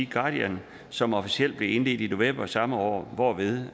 guardian som officielt blev indledt i november samme år hvorved